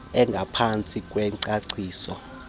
engaphantsi kwengcacio magama